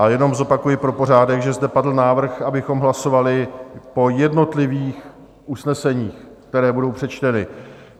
A jenom zopakuji pro pořádek, že zde padl návrh, abychom hlasovali po jednotlivých usneseních, která budou přečtena.